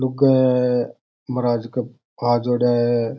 लोगे गे महाराज के हाथ जोड़ है।